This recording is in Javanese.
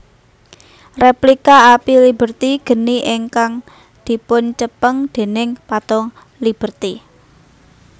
Replika Api Liberty geni ingkang dipuncepeng déning Patung Liberty